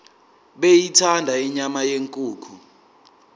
beyithanda inyama yenkukhu